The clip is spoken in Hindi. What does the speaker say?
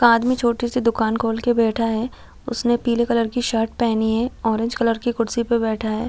एक आदमी छोटी सी दुकान खोल के बैठा है उसने पीले कलर की शर्ट पहनी है ऑरेंज कलर की कुर्सी पे बैठा है।